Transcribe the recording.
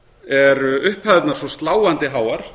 eru upphæðirnar svo sláandi háar